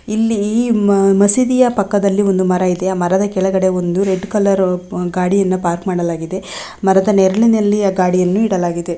ಇಲ್ಲಿ ಈ ಮಸೀದಿಯ ಪಕ್ಕದಲ್ಲಿ ಒಂದು ಮರವಿದೇ ಆ ಮರದ ಕೆಳಗಡೆ ಒಂದು ರೆಡ್ ಕಲರ್ ಗಾಡಿಯನ್ನು ಪಾರ್ಕ್ಕಾ ಮಾಡಿದರೆ ಮರದ ನೆರಳಿನಲ್ಲಿ ಆ ಗಾಡಿ ಯನ್ನು ಇಡಲಾಗಿದೆ.